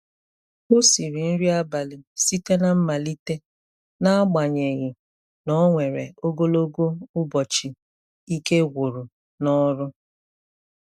O siri nri abalị site na mmalite n'agbanyeghị na o nwere ogologo ụbọchị ike gwụrụ n'ọrụ.